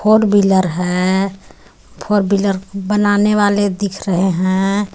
Four wheeler है four wheeler बनाने वाले दिख रहे हैं.